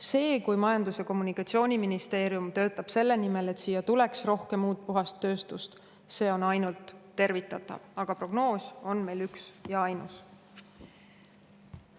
See, kui Majandus‑ ja Kommunikatsiooniministeerium töötab selle nimel, et siia tuleks rohkem uut, puhast tööstust, on ainult tervitatav, aga prognoos on meil üks ja ainus.